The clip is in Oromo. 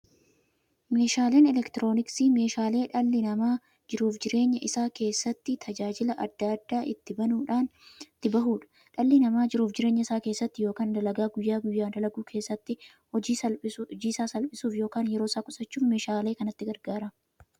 Meeshaaleen elektirooniksii meeshaalee dhalli namaa jiruuf jireenya isaa keessatti, tajaajila adda addaa itti bahuudha. Dhalli namaa jiruuf jireenya isaa keessatti yookiin dalagaa guyyaa guyyaan dalagu keessatti, hojii isaa salphissuuf yookiin yeroo isaa qusachuuf meeshaalee kanatti gargaarama.